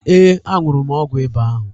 Ee, aṅụrụ m ọgwụ ịba ahụ.